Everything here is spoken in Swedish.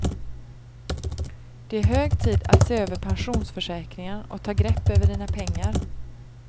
Det är hög tid att se över pensionsförsäkringar och ta grepp över dina pengar.